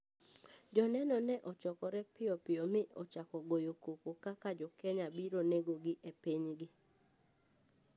Joneno ne ochokore piyo piyo mi ochako goyo koko kaka jokenya obiro negogi e pinygi.